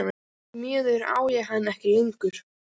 Því miður á ég hana ekki lengur.